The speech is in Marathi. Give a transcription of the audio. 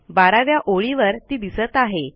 12 व्या ओळीवर ती दिसत आहे